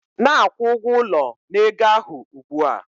Na-akwụ ụgwọ ụlọ na ego ahụ ugbu a